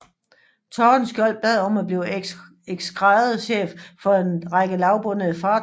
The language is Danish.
Tordenskjold bad om at blive eskadrechef for en række lavbundede fartøjer